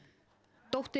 dóttir